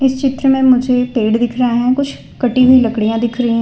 चित्र में मुझे पेड़ दिख रहा है कुछ कटी हुई लकड़ियां दिख रही--